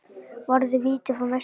Varði víti frá Messi.